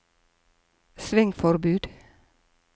svingforbud